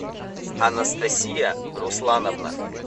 анастасия руслановна